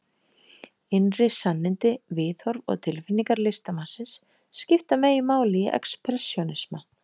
Innri sannindi, viðhorf og tilfinningar listamannsins skipta meginmáli í expressjónisma.